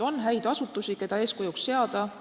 On asutusi, keda eeskujuks seada.